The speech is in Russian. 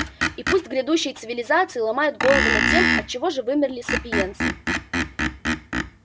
и пусть грядущие цивилизации ломают головы над тем отчего же вымерли сапиенсы